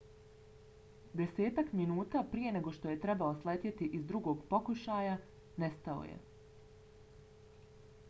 desetak minuta prije nego što je trebao sletjeti iz drugog pokušaja nestao je